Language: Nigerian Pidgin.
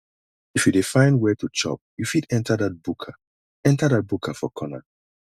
if you dey find where to chop you fit enter dat buka enter dat buka for corner